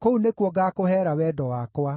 kũu nĩkuo ngaakũheera wendo wakwa.